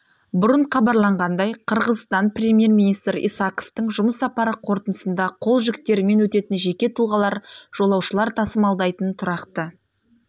бұрын хабарланғандай қырғызстан премьер-министрі исаковтың жұмыс сапары қорытындысында қол жүктерімен өтетін жеке тұлғалар жолаушылар тасымалдайтын тұрақты